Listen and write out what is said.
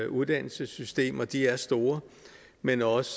uddannelsessystem og de er store men også